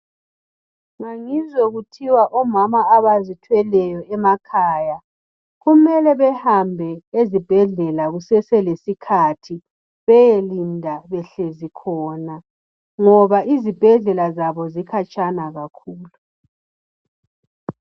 Ngangizwe kuthiwa omama abazithweleyo emakhaya kumele behambe ezibhedlela kuseselesikhathi beyelinda behlezi khona ngoba izibhedlela zabo zikhatshana kakhulu.